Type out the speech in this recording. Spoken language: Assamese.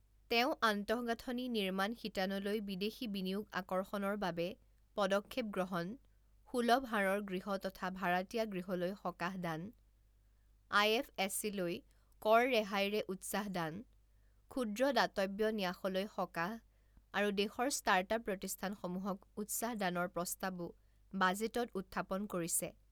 তেওঁ আন্তগাঁথনি নিৰ্মাণ শিতানলৈ বিদেশী বিনিয়োগ আকৰ্ষণৰ বাবে পদক্ষেপ গ্ৰহণ, সুলভ হাৰৰ গৃহ তথা ভাড়াতীয়া গৃহলৈ সকাহ দান, আইএফএছচি লৈ কৰ ৰেহাইৰে উত্সাহ দান, ক্ষুদ্ৰ দাতব্য ন্যাসলৈ সকাহ আৰু দেশৰ ষ্টাৰ্টআপ প্ৰতষ্ঠানসমূহক উত্সাহ দানৰ প্ৰস্তাৱো বাজেটত উথ্থাপন কৰিছে।